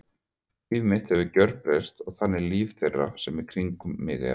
Líf mitt hefur gjörbreyst og einnig líf þeirra sem í kringum mig eru.